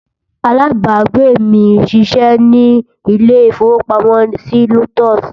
alábágbé mí sí ṣé ní ilè ifowo pàmò sí lotus